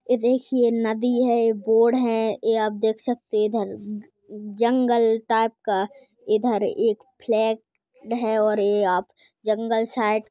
ये देखिये नदी है बोड है ये आप देख सकते है इधर जंगल टाइप का इधर एक फ्लॅट है और ये आप जंगल साइड --